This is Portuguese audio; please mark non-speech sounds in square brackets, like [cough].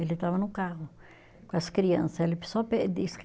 Ele estava no carro com as criança, ele só [unintelligible]